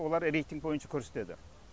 олар рейтинг бойынша көрсетеді